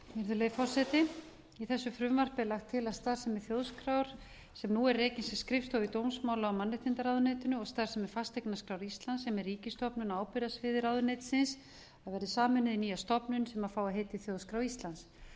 virðulegi forseti í þessu frumvarpi er lagt til að starfsemi þjóðskrár sem nú er rekin sem skrifstofa í dómsmála og mannréttindaráðuneytinu og starfsemi fasteignaskrár íslands sem er ríkisstofnun á ábyrgðarsviði ráðuneytisins verði sameinuð í nýja stofnun sem fái heitið þjóðskrá íslands